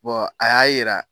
a y'a yira.